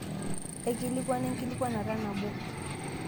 aikilikuana enkikilikuanata nabo